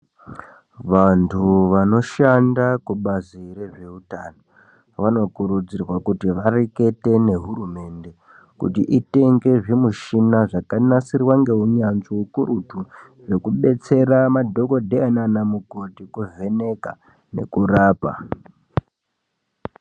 Vantu vanoshanda kubazi rezveutano vanokurudzirwa kuti varekete nehurumende kuti itenge zvimichina zvakanasirwa ngeunyanzvi ukurutu zvekudetsera madhokodheya naana mukoti kuvheneka nekurapa.